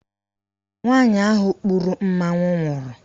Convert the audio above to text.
Nwaanyị ahụ kpuru mmanwụ nwụrụ.